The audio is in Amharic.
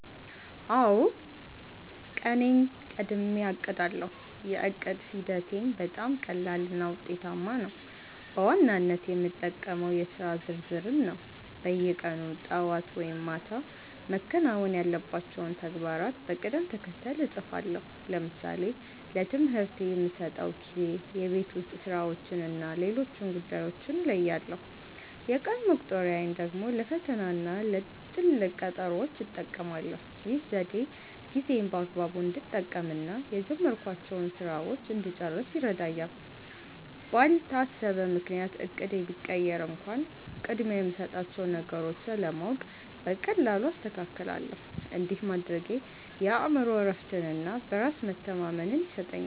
አውዎ፣ ቀኔን ቀድሜ አቅዳለው። የዕቅድ ሂደቴም በጣም ቀላልና ውጤታማ ነው። በዋናነት የምጠቀመው የሥራ ዝርዝርን ነው። በየቀኑ ጠዋት ወይም ማታ መከናወን ያለባቸውን ተግባራት በቅደም ተከተል እጽፋለሁ። ለምሳሌ ለትምህርቴ የምሰጠውን ጊዜ፣ የቤት ውስጥ ሥራዎችንና ሌሎች ጉዳዮችን እለያለሁ። የቀን መቁጠሪያን ደግሞ ለፈተናና ለትልቅ ቀጠሮዎች እጠቀማለሁ። ይህ ዘዴ ጊዜዬን በአግባቡ እንድጠቀምና የጀመርኳቸውን ሥራዎች እንድጨርስ ይረዳኛል። ባልታሰበ ምክንያት እቅዴ ቢቀየር እንኳን፣ ቅድሚያ የምሰጣቸውን ነገሮች ስለማውቅ በቀላሉ አስተካክላለሁ። እንዲህ ማድረጌ የአእምሮ እረፍትና በራስ መተማመን ይሰጠኛል።